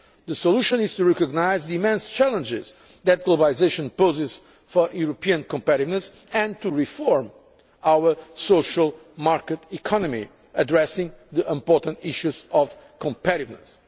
model. The solution is to recognise the immense challenges that globalisation poses for European competitiveness and to reform our social market economy, addressing the important issues of competitiveness.